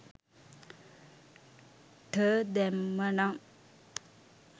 ට දැම්ම නං